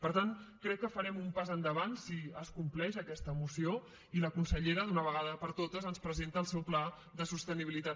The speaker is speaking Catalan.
per tant crec que farem un pas endavant si es compleix aquesta moció i la consellera d’una vegada per totes ens presenta el seu pla de sostenibilitat